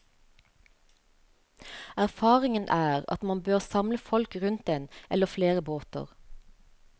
Erfaringen er at man bør samle folk rundt en eller flere båter.